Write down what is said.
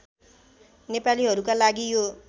नेपालीहरूका लागि यो